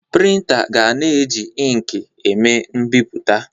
Prịntà ga-na eji inkị eme mbipụta.